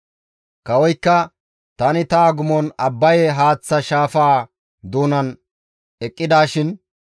Kawoykka, «Tani ta agumon Abbaye haaththa shaafaa doonan eqqidishin,